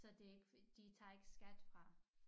Så det ikke de tager ikke skat fra